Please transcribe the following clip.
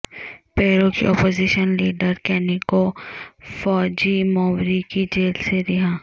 پیرو کی opposition leader کینیکو Fujimori کی جیل سے رہائی